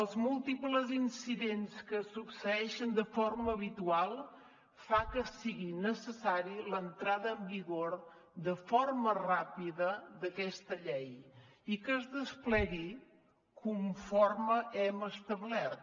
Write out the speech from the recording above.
els múltiples incidents que es succeeixen de forma habitual fa que sigui necessària l’entrada en vigor de forma ràpida d’aquesta llei i que es desplegui conforme hem establert